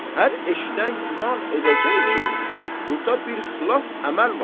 Hər eşidən güman edəcək ki, burda bir xilaf əməl var.